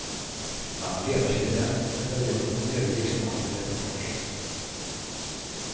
Han var ledarskribent en period men övergick snart till reportaget.